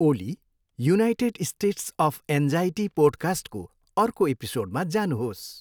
Oli, United States of Anxiety पोडकास्टको अर्को एपिसोडमा जानुहोस्।